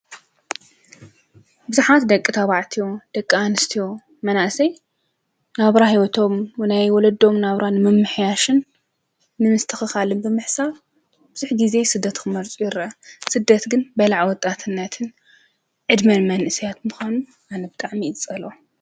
ብዙሓት ደቂ ታባዕትዮ ደቂ ኣንስትዮ መናእሰይ ናብራ ህይወቶም ናይ ወለዶ ናብራ ንምምሕያሽን ንምስትኽኻልን ብምሕሳብ ብዙሕ ጊዜ ስደት ክመርፁ ይርአዩ፡፡ ስደት ግን በላዒ ወጣትነትን ዕድመን መንእሰያት ብምዃኑ ኣነ ብጣዕሚ እየ ዝፀልኦ፡፡